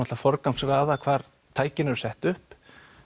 að forgangsraða hvar tækin eru sett upp